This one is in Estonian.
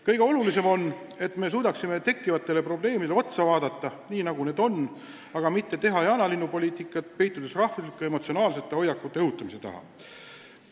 Kõige olulisem on, et me suudame tekkinud probleemidele otsa vaadata, mitte ajada jaanalinnupoliitikat, peitudes rahvuslike emotsionaalsete hoiakute õhutamise taha.